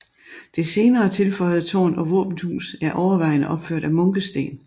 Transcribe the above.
Det senere tilføjede tårn og våbenhus er overvejende opført af munkesten